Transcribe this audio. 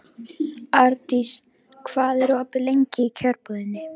Ardís, hvað er opið lengi í Kjörbúðinni?